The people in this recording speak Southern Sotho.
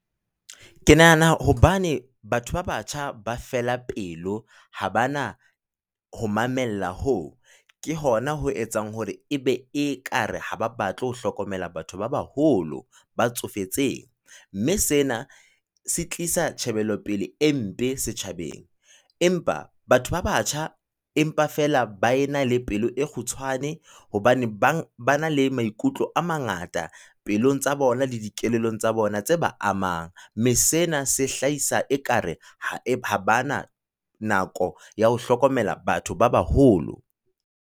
Ke nahana hobane batho ba batjha ba fela pelo, ha bana ho mamella hoo, ke hona ho etsang hore ebe e ka re ha ba batle ho hlokomela batho ba baholo ba tsofetseng. Mme sena se tlisa tjhebelo pele e mpe setjhabeng, empa batho ba batjha, empa feela ba e na le pelo e kgutshwane, hobane ba na le maikutlo a mangata pelong tsa bona le dikelellong tsa bona tse ba amang. Mme sena se hlahisa ekare ha bana nako ya ho hlokomela batho ba baholo.